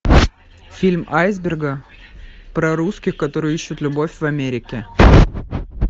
фильм айсберга про русских которые ищут любовь в америке